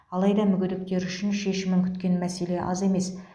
алайда мүгедектер үшін шешімін күткен мәселе аз емес